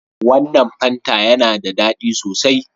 Wannan fanta yana da ɗadi sosai.